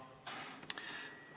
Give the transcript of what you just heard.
Taavi Rõivas, palun!